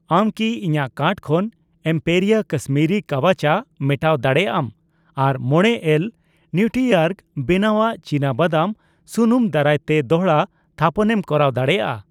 ᱟᱢ ᱠᱤ ᱤᱧᱟᱜ ᱠᱟᱨᱴ ᱠᱷᱚᱱ ᱮᱢᱯᱮᱨᱤᱭᱟ ᱠᱟᱥᱢᱤᱨᱤ ᱠᱟᱣᱟ ᱪᱟ ᱢᱮᱴᱟᱣ ᱫᱟᱲᱮᱭᱟᱜ ᱟᱢ ᱟᱨ ᱢᱚᱲᱮ ᱮᱞ ᱱᱤᱣᱴᱨᱤᱚᱨᱜ ᱵᱮᱱᱟᱣᱟᱜ ᱪᱤᱱᱟᱵᱟᱫᱟᱢ ᱥᱩᱱᱩᱢ ᱫᱟᱨᱟᱭᱛᱮ ᱫᱚᱲᱦᱟ ᱛᱷᱟᱯᱚᱱᱮᱢ ᱠᱚᱨᱟᱣ ᱫᱟᱲᱮᱭᱟᱜᱼᱟ ᱾